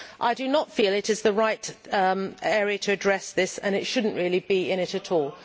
I do not feel it is the right area to address this, and it should not really be in it at all.